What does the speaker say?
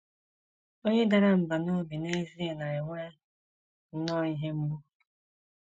Onye dara mbà n’obi n’ezie na - enwe nnọọ ihe mgbu.